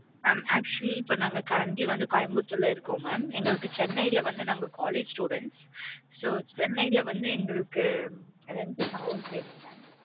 mam actually இப்ப நாங்க currently வந்து கோயம்புத்தூர் ல இருக்கோம் mam எங்களுக்கு சென்னை ல வந்து நாங்க college student so சென்னை ல வந்து எங்களுக்கு rent க்கு house வேணும் mam